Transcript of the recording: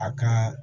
A ka